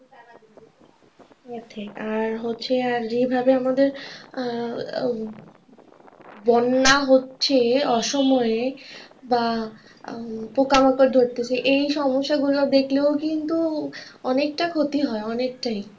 আর হচ্ছে আর যেভাবে আমাদের আহ বন্যা হচ্ছে অসময়ে বা পোকামাকড় ধরতেছে এই সমস্যাগুলো দেখলেও কিন্তু অনেকটাই ক্ষতি হয় অনেকটাই।